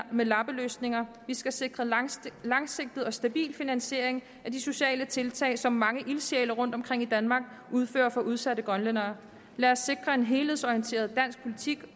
med lappeløsninger vi skal sikre langsigtet langsigtet og stabil finansiering af de sociale tiltag som mange ildsjæle rundtomkring i danmark udfører for udsatte grønlændere lad os sikre en helhedsorienteret dansk politik